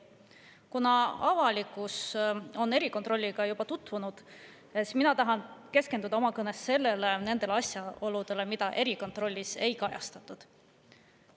Kuna avalikkus on erikontrolliga juba tutvunud, siis mina tahan keskenduda oma kõnes nendele asjaoludele, mida erikontrollis ei kajastatud.